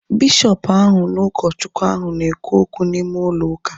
Bishọpu ahu na ụkọ Chukwu ahu na ekwu okwu n'ime ụlọ ụka